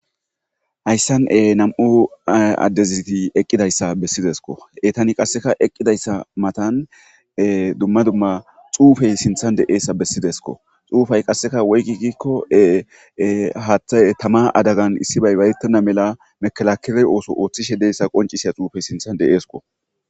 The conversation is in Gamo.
hayssane nam'u addeziti eqqidayssa bessidesko etani qasseka eqqidayssa matan dumma dumma xuufey sinthan de'eessa bessidesko xuufay qasseka woygi gikko haaththay tama adagan issi bay bayetena mela mekalakele ooso ooththishe deyassa qoncisiya xuufey sinthan de'esko